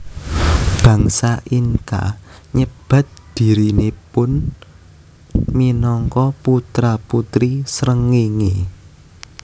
Bangsa Inca nyebat dhirinipun minangka putra putri srengéngé